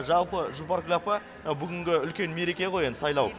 жалпы жұпаркүл апа бүгінгі үлкен мереке ғой енді сайлау